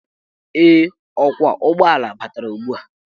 Ee, ọkwọụgbọala batara ugbua.